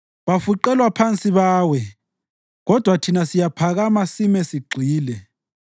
Bafuqelwa phansi bawe, kodwa thina siyaphakama sime sigxile.